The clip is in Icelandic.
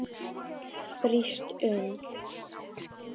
Brýst um.